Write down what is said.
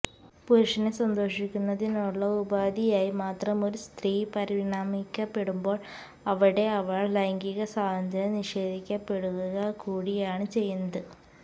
പുരുഷനെ സന്തോഷിപ്പിക്കുന്നതിനുള്ള ഉപാധിയായി മാത്രം ഒരു സ്ത്രീ പരിണമിക്കപ്പെടുമ്പോള് അവിടെ അവള്ക്ക് ലൈംഗിക സ്വാതന്ത്ര്യം നിഷേധിക്കപ്പെടുകകൂടിയാണ് ചെയ്യുന്നത്